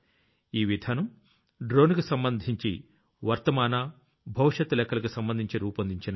ఈ విధానం డ్రోన్ కి సంబంధించి వర్తమాన భవిష్యత్తు లెక్కలకు సంబంధించి రూపొందించినది